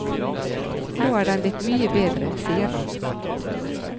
Nå er den blitt mye bedre, sier han.